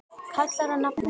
kallar á nafna sinn